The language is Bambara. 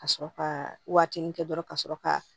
Ka sɔrɔ ka wagatinin kɛ dɔrɔn ka sɔrɔ ka